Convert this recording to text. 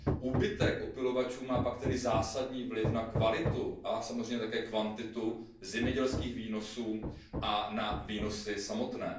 Úbytek opylovačů má pak tedy zásadní vliv na kvalitu a samozřejmě také kvantitu zemědělských výnosů a na výnosy samotné.